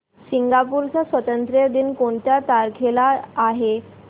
Singapore चा स्वातंत्र्य दिन कोणत्या तारखेला आहे